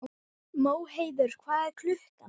Móheiður, hvað er klukkan?